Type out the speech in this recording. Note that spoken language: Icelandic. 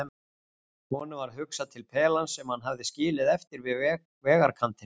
Honum varð hugsað til pelans sem hann hafði skilið eftir við vegarkantinn.